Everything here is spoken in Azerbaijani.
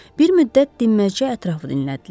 Bir müddət dinməzcə ətrafı dinlədilər.